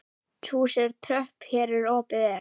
Hesthús tröð hér opið er.